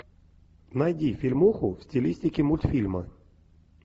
найди фильмуху в стилистике мультфильма